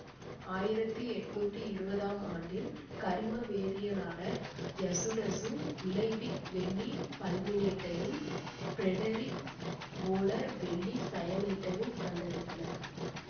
ஆயிரத்தி எட்ணூத்தி இருவதாம் ஆண்டில் கரிம வேதியியலாளர் யசுடசு இலைபிக் வெள்ளி பல்மினேட்டையும் பிரெடரிக் வோலர் வெள்ளி சயனேட்டையும் கண்டறிந்தனர்